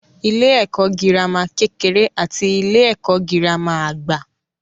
Ilé-ẹ̀kọ́ girama kekere àti ilé-ẹ̀kọ́ girama àgbà.